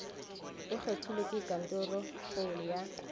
o kgethilwe ke kantorokgolo ya